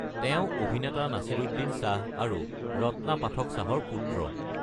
তেওঁ অভিনেতা নাছিৰুদ্দিন শ্বাহ আৰু ৰত্না পাঠক শ্বাহৰ পুত্ৰ।